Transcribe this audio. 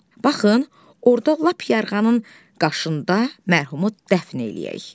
Baxın, orda lap yarğanın qaşında mərhumu dəfn eləyək.